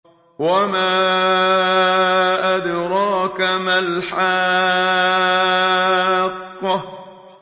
وَمَا أَدْرَاكَ مَا الْحَاقَّةُ